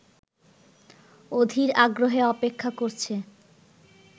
অধীর আগ্রহে অপেক্ষা করছে